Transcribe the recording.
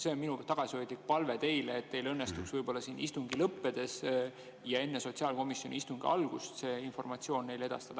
See on minu tagasihoidlik palve teile, et teil õnnestuks siin istungi lõppedes ja enne sotsiaalkomisjoni istungi algust see informatsioon neile edastada.